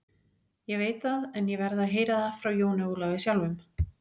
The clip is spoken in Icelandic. Ég veit það, en ég verð að heyra það frá Jóni Ólafi sjálfum.